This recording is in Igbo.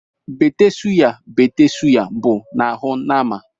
Bête sụya bête sụya bụ n’ahụ nama